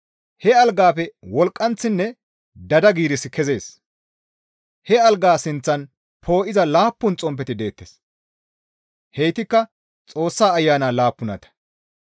He algaafe wolqqanththinne daada giirissi kezees; he algaa sinththan poo7iza laappun xomppeti deettes; heytikka Xoossa Ayana laappunata.